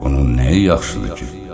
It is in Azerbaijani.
Bunun nəyi yaxşıdır ki?